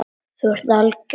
Þú ert algjör!